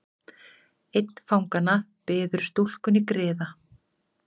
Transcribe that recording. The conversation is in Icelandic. Einn fanganna biður stúlkunni griða.